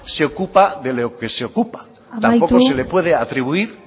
se ocupa de lo que se ocupa tampoco se le puede atribuir